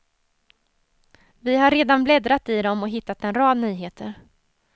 Vi har redan bläddrat i dem och hittat en rad nyheter.